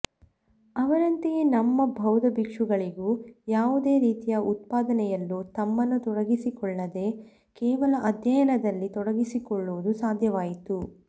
ಅವರಂತೆಯೇ ನಮ್ಮ ಬೌದ್ಧಬಿಕ್ಷುಗಳಿಗೂ ಯಾವುದೇ ರೀತಿಯ ಉತ್ಪಾದನೆಯಲ್ಲೂ ತಮ್ಮನ್ನು ತೊಡಗಿಸಿಕೊಳ್ಳದೇ ಕೇವಲ ಅಧ್ಯಯನದಲ್ಲಿ ತೊಡಗಿಕೊಳ್ಳುವುದು ಸಾಧ್ಯವಾಯಿತು